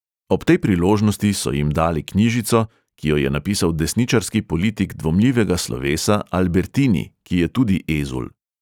Ob tej priložnosti so jim dali knjižico, ki jo je napisal desničarski politik dvomljivega slovesa, albertini, ki je tudi ezul.